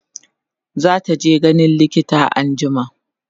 zataje ganin likita anjima